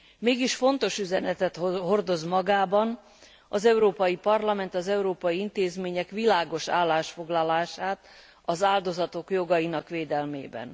Mégis fontos üzenetet hordoz magában, az Európai Parlament, az európai intézmények világos állásfoglalását az áldozatok jogainak védelmében.